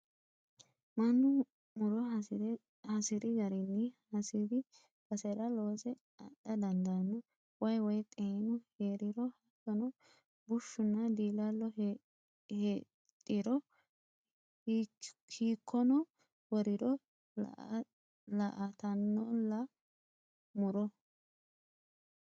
Mannu muro hasiri garinni hasiri basera loose adha dandaano waayi woyi xeenu heeriro hattono bushshunna diilalo heedhiro hiikkono woriro laaltanolla muro.